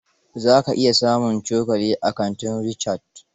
Za ka iya samun cokali a kantin Richard.